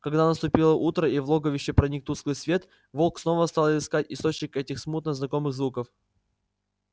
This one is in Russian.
когда наступило утро и в логовище проник тусклый свет волк снова стал искать источник этих смутно знакомых звуков